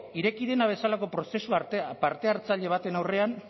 ireki dena bezalako prozesu parte hartzaile baten aurrean